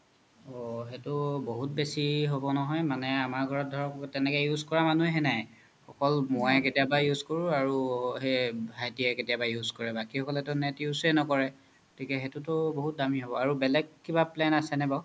অ সেইতো বহুত বেচি হ'ব নহয় আমাৰ ঘৰত ধৰক তেনেকে use কৰা মানুহে নাই অকল মই কেতিয়া বা use কৰো আৰু সেই ভাইতিয়ে কেতিয়াবা use কৰে বাকি সকলেতো net use য়ে নকৰে গ্তিকে সেইতো তু বহুত দামি হ'ব আৰু বেলেগ কিবা plan আছে নে বাৰু